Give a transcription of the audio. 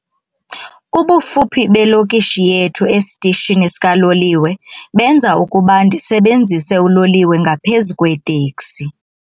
Ubufuphi belokishi yethu esitishini sikaloliwe benza ukuba ndisebenzise uloliwe ngaphezu kweeteksi.